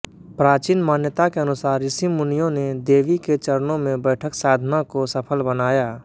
प्राचीन मान्यता के अनुसार ऋषिमुनियों ने देवी के चरणों में बैठक साधना को सफल बनाया